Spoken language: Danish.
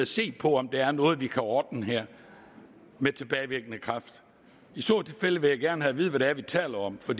se på om der er noget vi kan ordne her med tilbagevirkende kraft i så tilfælde vil jeg gerne have at vide hvad det er vi taler om for